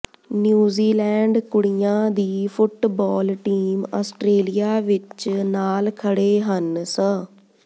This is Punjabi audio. ਨਿਊਜ਼ੀਲੈਂਡ ਕੁੜੀਆਂ ਦੀ ਫੁੱਟਬਾਲ ਟੀਮ ਆਸਟਰੇਲੀਆ ਵਿਚ ਨਾਲ ਖੜ੍ਹੇ ਹਨ ਸ